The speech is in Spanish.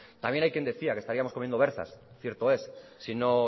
también hay quien decía que estaríamos comiendo berzas cierto es si no